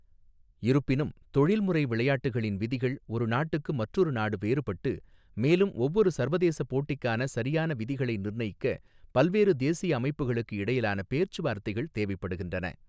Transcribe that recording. இருப்பினும், தொழில்முறை விளையாட்டுகளின் விதிகள் ஒரு நாட்டுக்கு மற்றொரு நாடு வேறுபட்டு, மேலும் ஒவ்வொரு சர்வதேச போட்டிக்கான சரியான விதிகளை நிர்ணயிக்க பல்வேறு தேசிய அமைப்புகளுக்கு இடையிலான பேச்சுவார்த்தைகள் தேவைப்படுகின்றன.